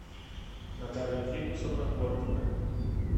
наталья фикусовна горкина